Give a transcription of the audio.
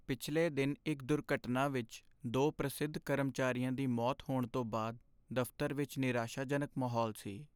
ਪਿਛਲੇ ਦਿਨ ਇੱਕ ਦੁਰਘਟਨਾ ਵਿੱਚ ਦੋ ਪ੍ਰਸਿੱਧ ਕਰਮਚਾਰੀਆਂ ਦੀ ਮੌਤ ਹੋਣ ਤੋਂ ਬਾਅਦ ਦਫ਼ਤਰ ਵਿੱਚ ਨਿਰਾਸ਼ਾਜਨਕ ਮਾਹੌਲ ਸੀ।